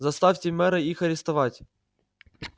заставьте мэра их арестовать